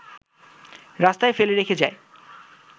রাস্তায় ফেলে রেখে যায়